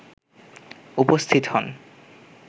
উপস্থিত হন